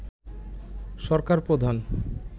সরকার প্রধান